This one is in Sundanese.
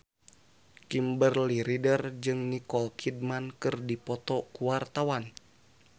Kimberly Ryder jeung Nicole Kidman keur dipoto ku wartawan